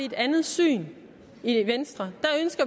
et andet syn i venstre